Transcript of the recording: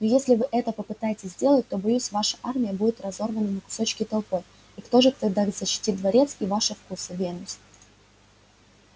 но если вы это попытаетесь сделать то боюсь ваша армия будет разорвана на кусочки толпой и кто же тогда защитит дворец и ваши вкусы венус